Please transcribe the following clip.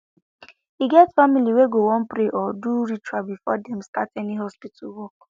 e get family wey go wan pray or do ritual before dem start any hospital work